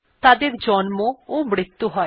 তাদের জন্ম ও মৃতু হয়